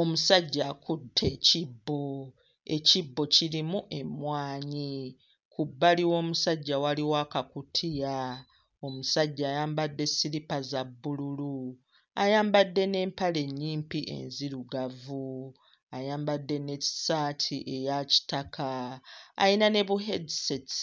Omusajja akutte ekibbo, ekibbo kirimu emmwanyi, ku bbali w'omusajja waliwo akakutiya, omusajja ayambadde siripa za bbululu; ayambadde n'empale nnyimpi enzirugavu, ayambadde n'essaati eya kitaka, ayina ne bu-headsets.